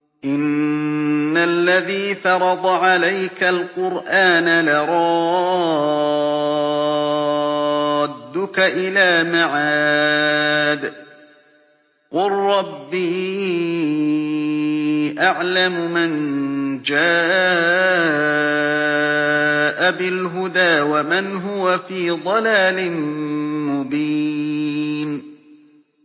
إِنَّ الَّذِي فَرَضَ عَلَيْكَ الْقُرْآنَ لَرَادُّكَ إِلَىٰ مَعَادٍ ۚ قُل رَّبِّي أَعْلَمُ مَن جَاءَ بِالْهُدَىٰ وَمَنْ هُوَ فِي ضَلَالٍ مُّبِينٍ